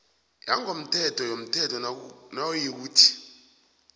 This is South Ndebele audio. yangokomthetho yomthelo nayikuthi